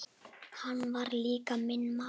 Hann var líka minn maður.